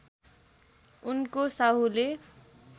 उनको साहुले